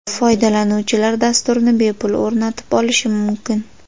Foydalanuvchilar dasturni bepul o‘rnatib olishi mumkin.